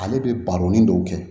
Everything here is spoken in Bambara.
Ale bɛ baro ni dɔw kɛ